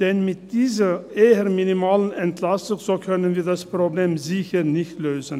Denn mit dieser eher minimalen Entlastung können wir das Problem sicher nicht lösen.